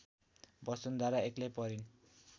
वसुन्धरा एक्लै परिन्